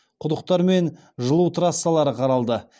құдықтар мен жылу трассалары қаралды